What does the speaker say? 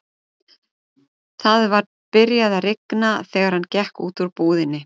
Það var byrjað að rigna þegar hann gekk út úr búðinni.